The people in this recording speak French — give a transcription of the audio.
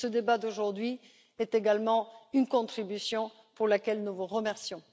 Ce débat d'aujourd'hui est également une contribution pour laquelle nous vous remercions.